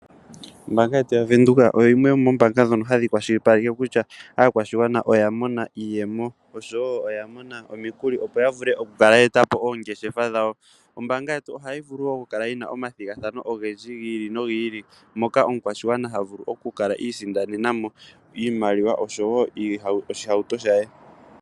Ombaanga yetu yavenduka oyo yimwe yo mombaanga dhono hadhi kwashilipaleke kutya, aakwashigwana oya mona iiyemo osho woo oya mona omikuli opo yavule okukala yeetapo oongeshefa dhawo. Ombaanga yetu ohayi vulu woo okukala yina omathigathano ogendji giili nogiili moka omukwashigwana havulu okukala iisindanenamo iimaliwa osho woo oshihauto shaye.